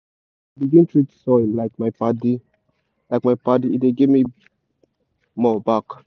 since i begin treat soil like my padi like my padi e dey give me more back.